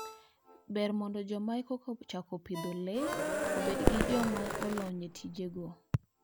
Ber mondo joma eka chako pidho le obed gi joma olony e tijegi.